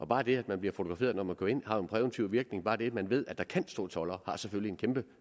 bare det at man bliver fotograferet når man kører ind har en præventiv virkning bare det at man ved at der kan stå toldere har selvfølgelig en